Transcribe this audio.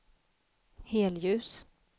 helljus